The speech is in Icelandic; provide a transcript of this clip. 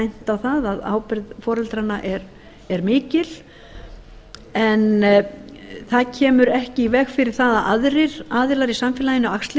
bent á það að ábyrgð foreldranna er mikil en það kemur ekki í veg fyrir það að aðrir aðilar í samfélaginu axli